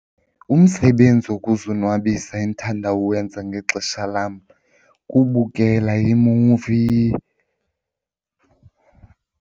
Umsebenzi wokuzonwabisa endithanda uwenza ngexesha lam kubukela iimuvi.